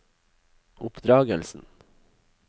oppdragelsen